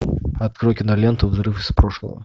открой киноленту взрыв из прошлого